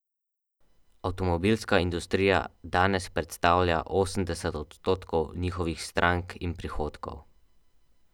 Avtomobilska industrija danes predstavlja osemdeset odstotkov njihovih strank in prihodkov.